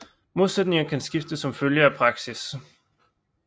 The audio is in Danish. Modsætninger kan skifte som følge af praksis